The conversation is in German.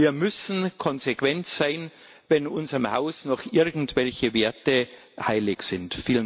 Wir müssen konsequent sein, wenn unserem Haus noch irgendwelche Werte heilig sind.